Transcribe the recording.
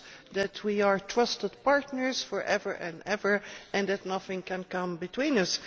that we are trusted partners for ever and ever, and that nothing can come between us.